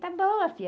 Tá boa, filha.